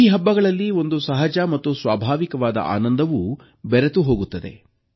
ಈ ಹಬ್ಬಗಳಲ್ಲಿ ಒಂದು ಸಹಜ ಮತ್ತು ಸ್ವಾಭಾವಿಕವಾದ ಆನಂದವೂ ಬೆರೆತುಹೋಗುತ್ತದೆ